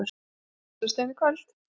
Bessastöðum í kvöld!